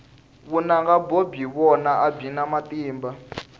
vunanga byo byi vona a byi na matimba